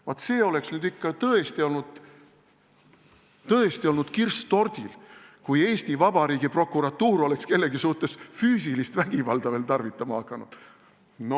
Vaat see oleks nüüd ikka tõesti olnud kirss tordil, kui Eesti Vabariigi prokuratuur oleks kellegi suhtes füüsilist vägivalda veel tarvitama hakanud!